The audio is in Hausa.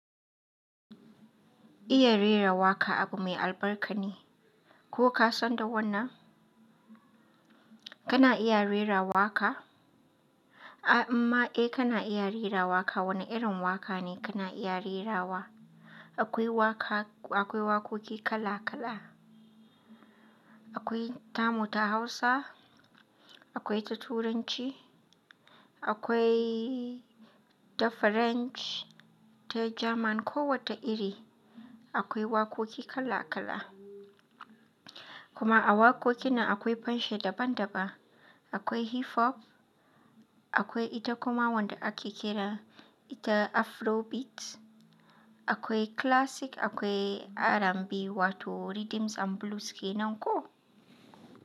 Iya rera waƙa abu mai albarka ne. Ko ka san da wannan? Kana iya rera waƙa? Amma eh kana iya rera waƙa. Wane irin waƙa ne kana iya rerawa? Akwai waƙa, akwai waƙoƙi kala-kala. Akwai tamu ta Hausa, akwai ta Turanci, akwai ta Franch, ta German. Ko wata iri akwai waƙoƙi kala-kala. Kuma a waƙoƙin na akwai fanshi daban daban. Akwai hip hop, akwai ita kuma wanda ake kira ita afrobeat, akwai classic, akwai R&B wato rhythms and blues kenan ko?